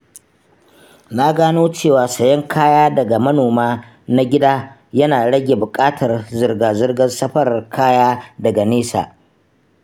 Na gano cewa sayen kaya daga manoma na gida yana rage bukatar zirga-zirgar safarar kaya daga nesa.